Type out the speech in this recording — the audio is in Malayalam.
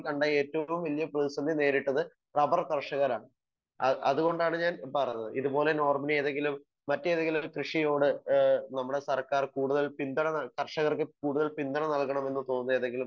സ്പീക്കർ 1 കണ്ട ഏറ്റവും വലിയ ഭീഷണി നേരിട്ടത് റബർ കർഷകരാണ് അത് കൊണ്ടാണ് ഞാൻ പറഞ്ഞത്. ഇത് പോലെ നോർബിന് ഏതെങ്കിലും മറ്റേതെങ്കിലും കൃഷിയോട് ഏഹ് നമ്മുടെ സർക്കാർ കൂടുതൽ പിന്തുണ കർഷകർക്ക് കൂടുതൽ പിന്തുണ നൽകണം എന്ന് തോന്നിയ ഏതെങ്കിലും